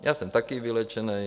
Já jsem taky vyléčený.